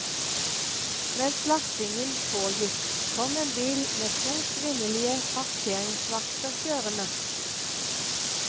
Mens lastingen pågikk, kom en bil med to kvinnelige parkeringsvakter kjørende.